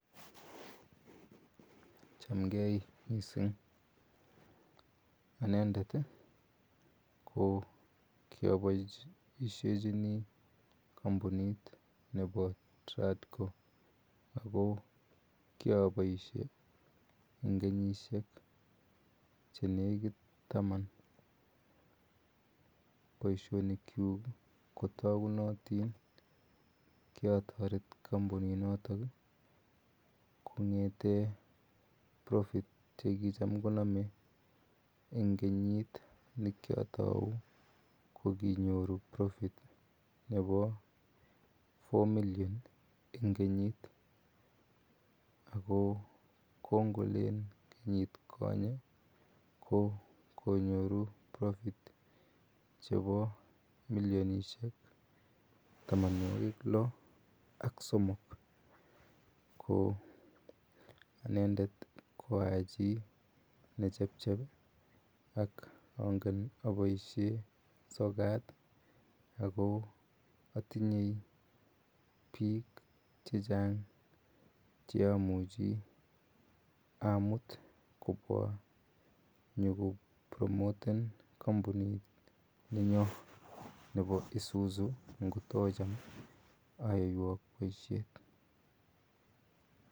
Chamgei missing' . Anendet ko kiapaishechini kampunit nepa TRADCO ako kiapaishe eg kenyishek che nekit taman. Poishonikchuk ko takunatin. Ki ataret kampuninotok kong'ete profitt che kicham koname. Eng' kenyit ne ki atau ko kinyoru profits jnepa four million eng' kenyit ako kongolen kenyit konye, konyoru profits chepa milionishek tamanwogik loask somok. Ko anendet ko a chi ne chechep, ak angen apaishe sokat ako atinye piik che chang' che amuchi amut kopwa nyuko promoten kapunininyo nepo isuzu ngot ocham ayaiwak poishet.